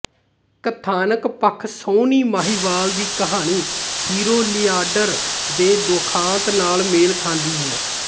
ਕਥਾਨਕ ਪੱਖ ਸੋਹਣੀ ਮਹੀਂਵਾਲ ਦੀ ਕਹਾਣੀ ਹੀਰੋ ਲੀਆਂਡਰ ਦੇ ਦੁਖਾਂਤ ਨਾਲ ਮੇਲ ਖਾਂਦੀ ਹੈ